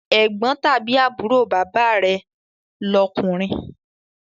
Ẹ̀gbọ́n tàbí àbúrò bàbá rẹ̀ lọkunrin